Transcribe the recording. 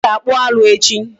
Anyi ga-akpụ arụ echi.